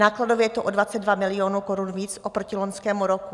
Nákladově to je o 22 milionů korun víc oproti loňskému roku.